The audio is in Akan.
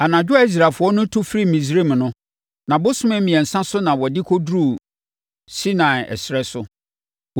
Anadwo a Israelfoɔ no tu firii Misraim no, nʼabosome mmiɛnsa so na wɔde kɔduruu Sinai ɛserɛ so.